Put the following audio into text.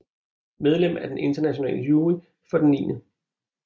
Medlem af den internationale jury for den 9